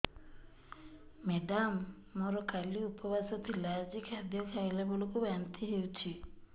madam ମୋର କାଲି ଉପବାସ ଥିଲା ଆଜି ଖାଦ୍ୟ ଖାଇଲା ବେଳକୁ ବାନ୍ତି ହେଊଛି